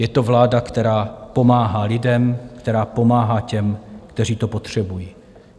Je to vláda, která pomáhá lidem, která pomáhá těm, kteří to potřebují.